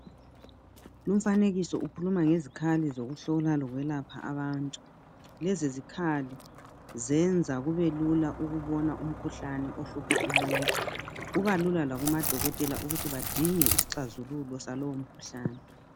Lumfanekiso ukhuluma ngezikhali zokuhlola lokwelaphela abantu lezi zikhali ziyenza kubelula ukubona umkhuhlane ohlupha umuntu kubalula lakumadokotela ukuthi badinge isixazululo salowo mkhuhlane.